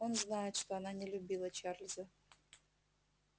он знает что она не любила чарлза